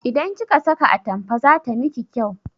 Idan kika saka atampa zata miki kyau